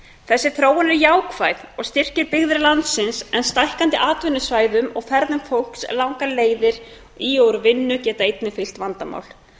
þessi þróun er jákvæð og styrkir byggðir landsins en stækkandi atvinnusvæðum og ferðum fólks langar leiðir í og úr vinnu fylgja einnig vandamál